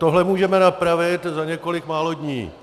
Tohle můžeme napravit za několik málo dní.